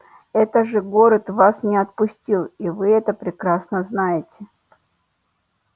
это же город вас не отпустил и вы это прекрасно знаете